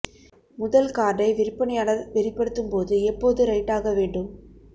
முதல் கார்டை விற்பனையாளர் வெளிப்படுத்தும் போது எப்போது ரைட் ஆக வேண்டும்